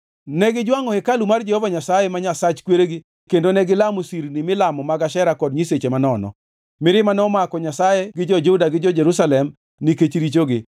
Negijwangʼo hekalu mar Jehova Nyasaye, ma Nyasach kweregi kendo negilamo sirni milamo mag Ashera kod nyiseche manono. Mirima nomako Nyasaye gi jo-Juda gi jo-Jerusalem nikech richogi.